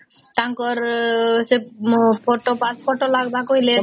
ତାଙ୍କର ସେ ମୋ photo pass photo ଲଗେବାର କହିଲେ